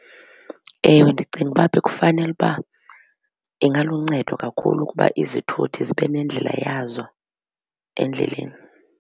Ewe, ndicinga uba bekufanele uba ingaluncedo kakhulu ukuba izithuthi zibe nendlela yazo endleleni.